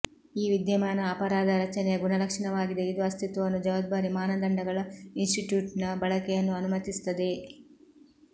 ಈ ವಿದ್ಯಮಾನ ಅಪರಾಧ ರಚನೆಯ ಗುಣಲಕ್ಷಣವಾಗಿದೆ ಇದು ಅಸ್ತಿತ್ವವನ್ನು ಜವಾಬ್ದಾರಿ ಮಾನದಂಡಗಳ ಇನ್ಸ್ಟಿಟ್ಯೂಟ್ ನ ಬಳಕೆಯನ್ನು ಅನುಮತಿಸುತ್ತದೆ